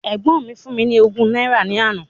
Ẹ̀gbọ́n mi fún mi ní ogún náírà ní àná.